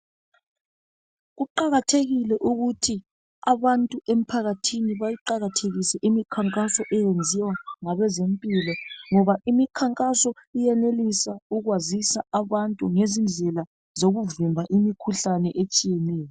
Kuqakathekile ukuthi abantu emphakathini bayiqakathekise imikhankaso eyenziwa ngabezempilo ngoba imikhankaso iyenelisa ukwazisa abantu ngezindlela zokuvimba imikhuhlane etshiyeneyo.